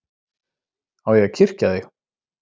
Á ég að kyrkja þig?